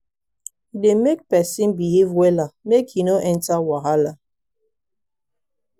e dey make people behave wella make e no enter wahala.